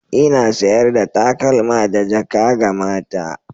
Ina sayar da takalma da jaka ga mata.